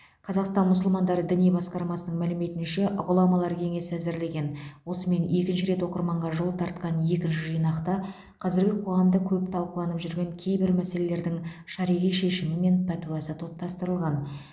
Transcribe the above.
қазақстан мұсылмандары діни басқармасы мәліметінше ғұламалар кеңесі әзірлеген осымен екінші рет оқырманға жол тартқан екінші жинақта қазіргі қоғамда көп талқыланып жүрген кейбір мәселелердің шариғи шешімі мен пәтуасы топтастырылған